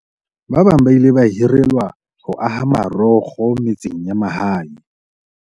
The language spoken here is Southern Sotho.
Ba bang ba ile ba hirelwa ho aha marokgo metseng ya mahae.